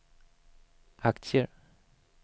aktier